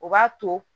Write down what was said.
O b'a to